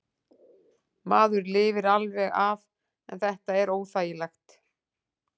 Maður lifir alveg af en þetta er óþægilegt.